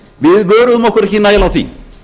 við vöruðum okkur ekki nægilega á því